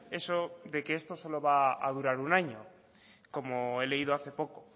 eso de que esto solo va a durar un año como he leído hace poco